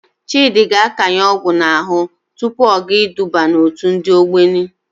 Chịdị ga-akanye ọgwụ n'ahụ tupu ọ gaa iduba n'òtù ndị Ogboni.